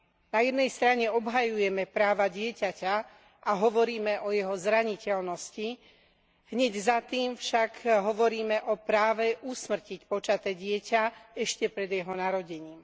Na jednej strane obhajujeme práva dieťaťa a hovoríme o jeho zraniteľnosti, hneď za tým však hovoríme o práve usmrtiť počaté dieťa ešte pred jeho narodením.